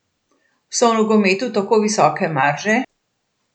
So v nogometu tako visoke marže?